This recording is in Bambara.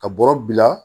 Ka bɔrɔ bila